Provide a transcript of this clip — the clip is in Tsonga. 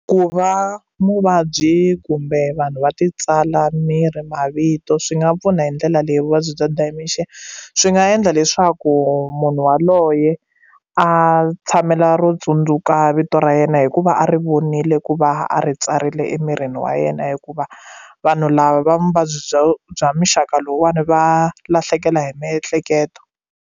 Ku va muvabyi kumbe vanhu va ti tsala miri mavito swi nga pfuna hi ndlela leyi vuvabyi bya dementia swi nga endla leswaku munhu waloye a tshamela ro tsundzuka vito ra yena hikuva a ri vonile ku va a ri tsarile emirini wa yena hikuva vanhu lava va muvabyi bya bya muxaka lowuwani va lahlekela hi miehleketo.